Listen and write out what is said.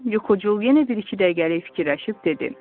Yuxucul yenə bir-iki dəqiqəlik fikirləşib dedi: